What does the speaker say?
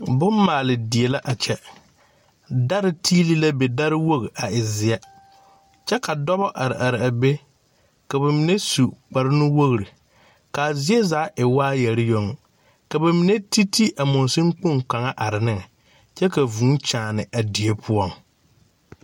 Bommaale die la a kyɛ dari tiili la be dariwogi a e zeɛ kyɛ ka dɔba are are a be ka ba mine su kparnuwogri k,a zie zaa e waayɛre yoŋ ka ba mine ti ti a mɔŋsoŋ kpoŋ kaŋ a are are neŋ kyɛ ka vuu kyaane a die poɔŋ.